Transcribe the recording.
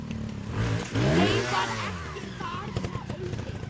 Þeim varð ekki barna auðið.